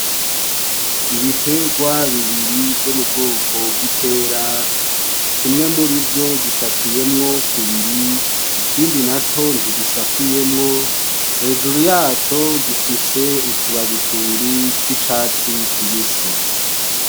Ibitegwa bibiri vyo mu bwoko bw'ipera, kimwe muri vyo gisatuwemwo kubiri ikindi naco ntigisatuwemwo, hejuru yaco gifise utubabi tubiri tw'icatsi kibisi.